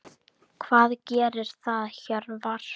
Hvað gerir það Hjörvar?